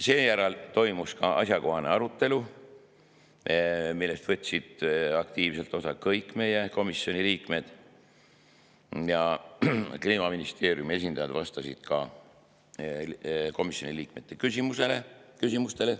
Seejärel toimus asjakohane arutelu, millest võtsid aktiivselt osa kõik meie komisjoni liikmed, ja Kliimaministeeriumi esindajad vastasid ka komisjoni liikmete küsimustele.